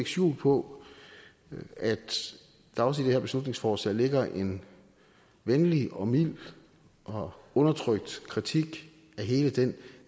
skjul på at der også i det her beslutningsforslag ligger en venlig og mild og undertrykt kritik af hele den